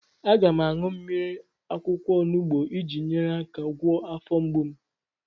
Aga m aṅụ mmiri akwụkwọ onubu iji nyere aka gwọọ afọ mgbu m.